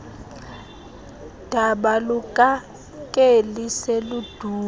daba lukakeli seludume